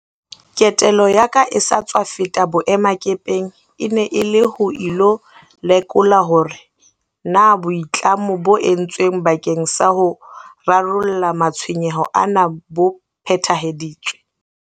Ketelo ya ka e sa tswa feta boemakepeng e ne e le ho ilo lekola hore na boitlamo bo entsweng bakeng sa ho rarolla matshwenyeho ana bo phethahaditswe.